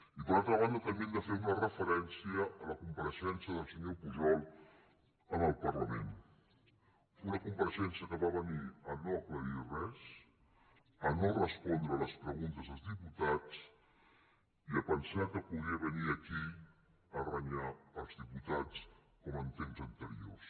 i per altra banda també hem de fer una referència a la compareixença del senyor pujol en el parlament una compareixença que va venir a no aclarir res a no respondre les preguntes dels diputats i a pensar que podia venir aquí a renyar els diputats com en temps anteriors